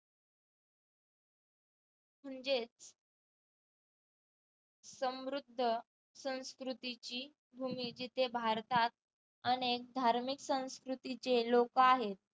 म्हणजेच समृद्ध संस्कृतीची भूमी जिथे भारतात अनेक धार्मिक संस्कृतीचे लोकं आहेत